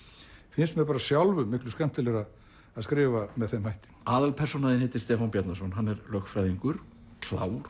finnst mér sjálfum miklu skemmtilegra að skrifa með þeim hætti aðalpersónan þín heitir Stefán Bjarnason hann er lögfræðingur klár